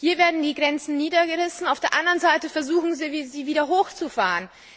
Hier werden die Grenzen niedergerissen, auf der anderen Seite versuchen Sie, sie wieder hochzufahren.